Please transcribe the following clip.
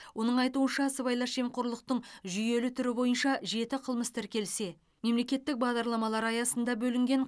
оның айтуынша сыбайлас жемқорлықтың жүйелі түрі бойынша жеті қылмыс тіркелсе мемлекеттік бағдарламалар аясында бөлінген